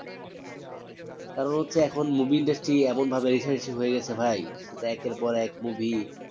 কারণ হচ্ছে এখন movie industry এমন ভাবে aggresive হয়ে গেছে ভাই একের পর এক movie